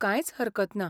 कांयच हरकत ना.